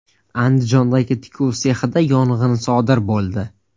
Andijondagi tikuv sexida yong‘in sodir bo‘ldi .